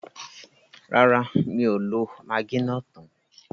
Rárá, mi ò lo magí náà tán.